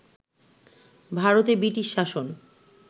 ভারতে ব্রিটিশ শাসন